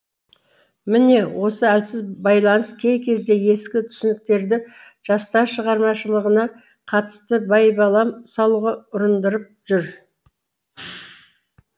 міне осы әлсіз байланыс кей кезде ескі түсініктерді жастар шығармашылығына қатысты байбалам салуға ұрындырып жүр